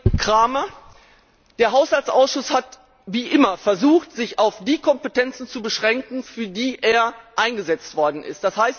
Herr Cramer, der Haushaltsausschuss hat wie immer versucht, sich auf die Kompetenzen zu beschränken, für die er eingesetzt worden ist.